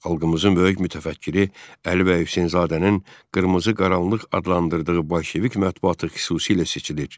Xalqımızın böyük mütəfəkkiri Əli bəy Hüseynzadənin Qırmızı qaranlıq adlandırdığı bolşevik mətbuatı xüsusilə seçilir.